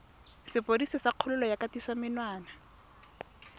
sepodisi sa kgololo ya kgatisomenwa